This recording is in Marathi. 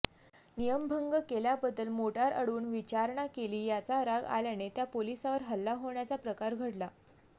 नियमभंग केल्याबद्दल मोटार अडवून विचारणा केली याचा राग आल्याने त्या पोलिसावर हल्ला होण्याचा प्रकार घडला